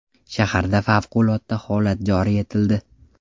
Shaharda favqulodda holat joriy etildi .